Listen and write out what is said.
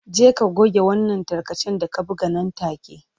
Je ka goge wannan tarkacen da ka buga nan take.